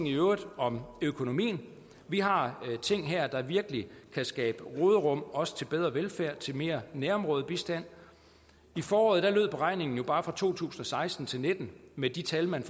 i øvrigt om økonomien vi har ting her der virkelig kan skabe råderum også til bedre velfærd til mere nærområdebistand i foråret lød beregningen jo bare for to tusind og seksten til nitten med de tal man